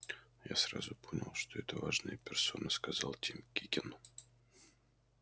я сразу понял что это важная персона сказал тим кикен